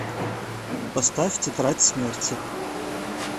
поставь тетрадь смерти